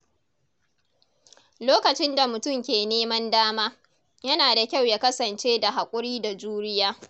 Lokacin da mutum ke neman dama, yana da kyau ya kasance da haƙuri da juriya.